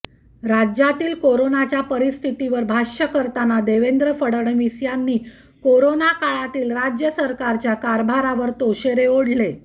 राज्यातील कोरोनाच्या परिस्थितीवर भाष्य करताना देवेंद्र फडणवीस यांनी कोरोनाकाळातील राज्य सरकारच्या कारभारावर ताशेरे ओढले